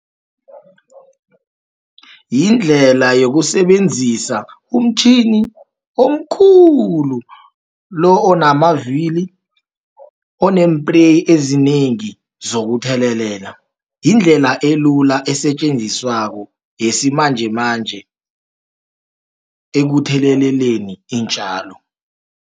Yindlela yokusebenzisa umtjhini omkhulu, lo onamavikili, oneempreyi ezinengi zokuthelelela. Yindlela elula esetjenziswako, yesimanjemanje ekutheleleleni iintjalo.